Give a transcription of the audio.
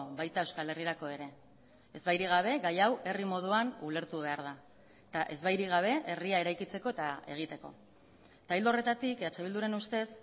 baita euskal herrirako ere ezbairik gabe gai hau herri moduan ulertu behar da eta ezbairik gabe herria eraikitzeko eta egiteko eta ildo horretatik eh bilduren ustez